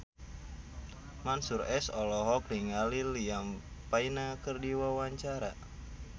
Mansyur S olohok ningali Liam Payne keur diwawancara